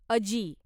अजी